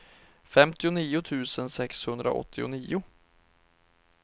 femtionio tusen sexhundraåttionio